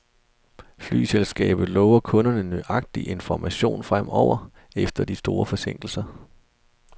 Flyselskabet lover kunderne nøjagtig information fremover, efter de store forsinkelser.